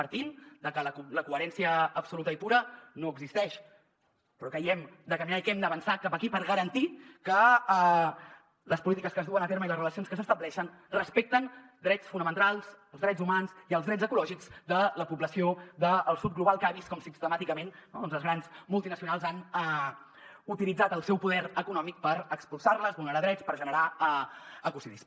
partint de que la coherència absoluta i pura no existeix però creiem que hem de caminar i que hem d’avançar cap aquí per garantir que les polítiques que es duen a terme i les relacions que s’estableixen respecten drets fonamentals els drets humans i els drets ecològics de la població del sud global que ha vist com sistemàticament no doncs les grans multinacionals han utilitzat el seu poder econòmic per expulsar les vulnerar drets per generar ecocidis